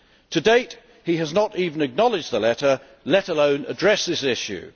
To date he has not even acknowledged the letter, let alone addressed this issue.